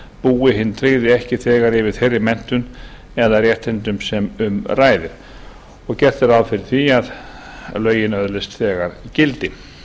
búi hinn tryggði ekki þegar yfir þeirri menntun eða réttindum sem um ræðir gert er ráð fyrir því að lögin öðlist þegar gildi